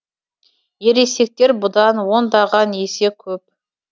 ересектер бұдан ондаған есе көп